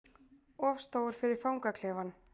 Of stór fyrir fangaklefann